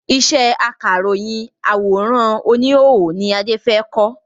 Ìṣe akáròyìn àwòrán oníhòòhò ni Adé fẹ kọ́